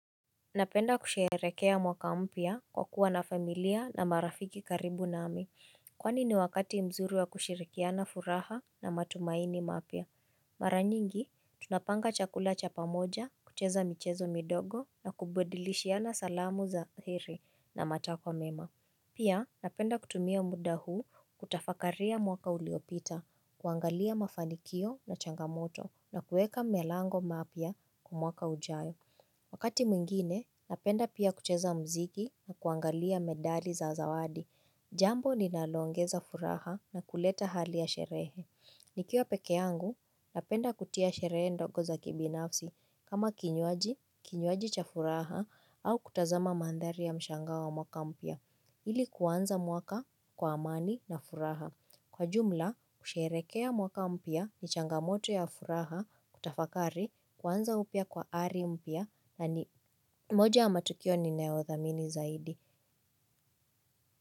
Napenda kusherehekea mwaka mpya kwa kuwa na familia na marafiki karibu nami. Kwani ni wakati mzuri wa kushirikia na furaha na matumaini mapya? Mara nyingi, tunapanga chakula cha pamoja, kucheza michezo midogo na kubadilishiana salamu za heri na matakwa mema. Pia, napenda kutumia muda huu kutafakaria mwaka uliyopita, kuangalia mafanikio na changamoto na kueka malengo mapya kwa mwaka ujayo. Wakati mwingine, napenda pia kucheza mziki na kuangalia medali za zawadi. Jambo linalongeza furaha na kuleta hali ya sherehe. Nikiwa pekee yangu, napenda kutia sherehe ndogo za kibinafsi kama kinywaji, kinywaji cha furaha au kutazama mandhari ya mshangao wa mwaka mpya. Ili kuanza mwaka kwa amani na furaha. Kwa jumla, kusherehekea mwaka mpya ni changamoto ya furaha kutafakari kuanza upya kwa ari mpya na ni moja ya matukio ni ninayodhamini zaidi.